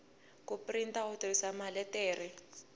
ku printa u tirhisa maletere